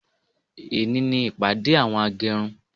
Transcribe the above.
Ẹni ní ìpàdé àwọn agẹrun